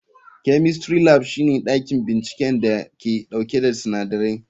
Chemistry Lab shine dakin binciken da ke dauke da sinadarai.